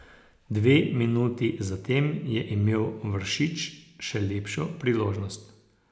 Dve minuti zatem je imel Vršič še lepšo priložnost.